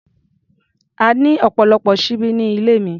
A ní ọ̀pọ̀lọpọ̀ ṣíbí ní ilé mi.